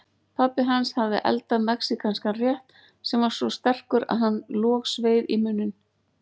Pabbi hans hafði eldað mexíkanskan rétt sem var svo sterkur að hann logsveið í munninn.